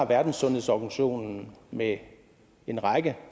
verdenssundhedsorganisationen med en række